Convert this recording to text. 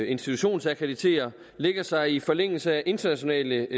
institutionsakkreditere lægger sig i forlængelse af internationale